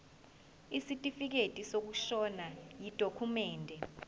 isitifikedi sokushona yidokhumende